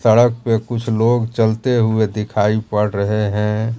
सड़क पे कुछ लोग चलते हुए दिखाई पड़ रहे हैं।